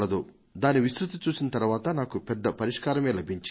దాని విస్తృతిని చూసిన తరువాత నాకు పెద్ద పరిష్కారమే లభించింది